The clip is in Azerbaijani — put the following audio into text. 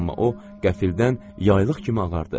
Amma o qəfildən yaylıq kimi ağardı.